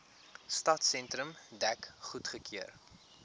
stadsentrum dek goedgekeur